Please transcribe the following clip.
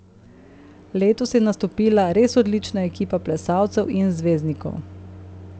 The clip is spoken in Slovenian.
Letos je nastopila res odlična ekipa plesalcev in zvezdnikov.